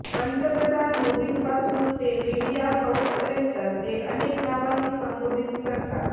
पंतप्रधान मोदींपासून ते मीडिया हाउसपर्यंत ते अनेक नावांनी संबोधित करतात